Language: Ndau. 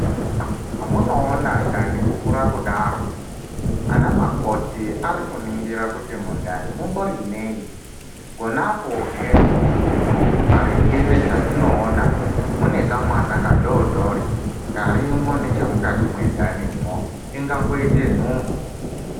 Zvamunoona ndani kukura kudaro ana makoti Ari kuningira kuti mundani mumbori nei ponapo hee maringe nezvatinoona mune kamwana kadori dori Karimo nechemukati mendanimo ingangoita nhumbu .